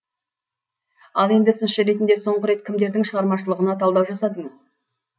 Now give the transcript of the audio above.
ал енді сыншы ретінде соңғы рет кімдердің шығармашылығына талдау жасадыңыз